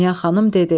Dünya xanım dedi: